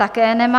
Také nemá.